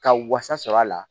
Ka wasa sɔrɔ a la